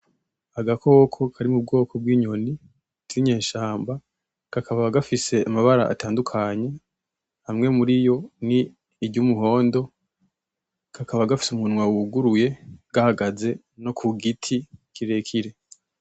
Agakoko kari mu bwoko bw'inyoni k'inyeshamba, kakaba gafise amabara atandukanya, amwe muriyo ni iryumuhondo, kakaba gafise umunwa wuguruye, gahaze no ku giti kirekire.